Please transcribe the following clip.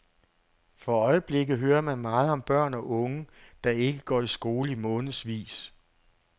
For øjeblikket hører man meget om børn og unge, der ikke går i skole i månedsvis.